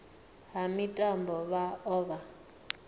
ha mitambo vha o vha